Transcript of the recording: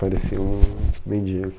Parecia um mendigo.